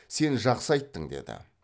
сен жақсы айттың деді